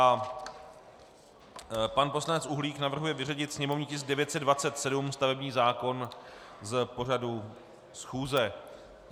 A pan poslanec Uhlík navrhuje vyřadit sněmovní tisk 927, stavební zákon z pořadu schůze.